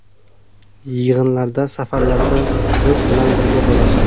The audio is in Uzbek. Yig‘inlarda, safarlarda biz bilan birga bo‘ladi.